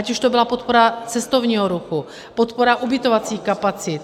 Ať už to byla podpora cestovního ruchu, podpora ubytovacích kapacit.